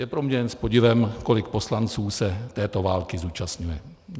Je pro mě jen s podivem, kolik poslanců se této války zúčastňuje.